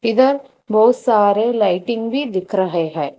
इधर बहुत सारे लाइटिंग भी दिख रहे हैं।